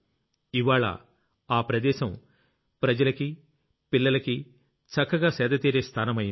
ఇవ్వాళ్ల ఆ ప్రదేశం జనానికి పిల్లలకి చక్కగా సేదతీరే స్థానమయ్యింది